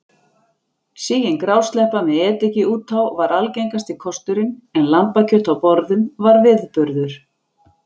Sigin grásleppa með ediki út á var algengasti kosturinn en lambakjöt á borðum var viðburður.